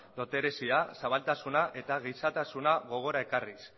dotorezia zabaltasuna eta gizatasuna gogora ekarriz